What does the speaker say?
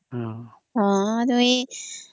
ଅମ୍